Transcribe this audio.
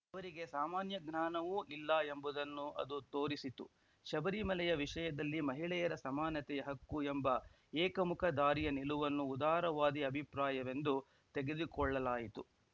ಅವರಿಗೆ ಸಾಮಾನ್ಯಜ್ಞಾನವೂ ಇಲ್ಲ ಎಂಬುದನ್ನು ಅದು ತೋರಿಸಿತು ಶಬರಿಮಲೆಯ ವಿಷಯದಲ್ಲಿ ಮಹಿಳೆಯರ ಸಮಾನತೆಯ ಹಕ್ಕು ಎಂಬ ಏಕಮುಖ ದಾರಿಯ ನಿಲುವನ್ನು ಉದಾರವಾದಿ ಅಭಿಪ್ರಾಯವೆಂದು ತೆಗೆದುಕೊಳ್ಳಲಾಯಿತು